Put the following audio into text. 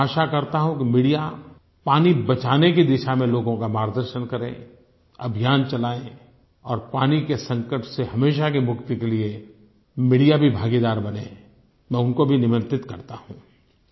मैं आशा करता हूँ कि मीडिया पानी बचाने की दिशा में लोगों का मार्गदर्शन करे अभियान चलाए और पानी के संकट से हमेशा की मुक्ति के लिए मीडिया भी भागीदार बने मैं उनको भी निमंत्रित करता हूँ